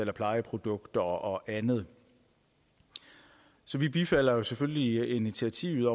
af plejeprodukter og andet så vi bifalder selvfølgelig initiativet